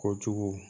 Kojugu